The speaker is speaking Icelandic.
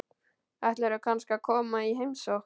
Ætlarðu kannski að koma í heimsókn?